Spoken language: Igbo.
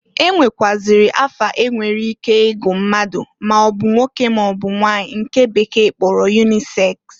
E nwekwụazịrị afa enwere ike igu mmadụ maọbụ nwoke maọbụ nwanyị nke bekee kporo yuniseks.